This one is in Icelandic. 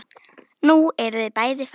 Nú eru þau bæði farin.